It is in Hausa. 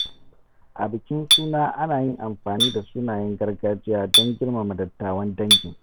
A bikin suna, ana yin amfani da sunayen gargajiya don girmama dattawan dangin.